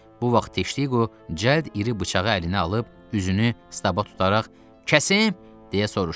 Bu vaxt Diqo cəllad iri bıçağı əlinə alıb üzünü Staba tutaraq, kəsim, deyə soruşdu.